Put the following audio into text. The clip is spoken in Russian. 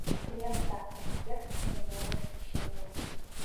лента объект моего восхищения